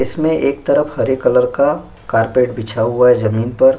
इसमें एक तरफ हरे कलर का कारपेट बिछा हुआ है जमीन पर।